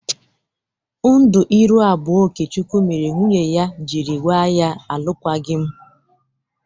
Ndu iru abụọ Okechukwu mere nwunye ya jiri gba ya alụKwaghị m.